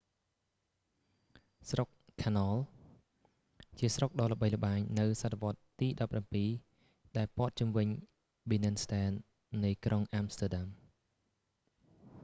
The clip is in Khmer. ស្រុក canal ជាភាសាហូឡង់៖ grachtengordel ជាស្រុកដ៏ល្បីល្បាញនៅសតវត្សរ៍ទី 17 ដែលព័ទ្ធជុំវិញ binnenstad នៃក្រុងអាំស្ទែដាំ